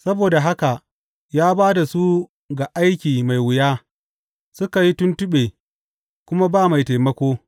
Saboda haka ya ba da su ga aiki mai wuya; suka yi tuntuɓe, kuma ba mai taimako.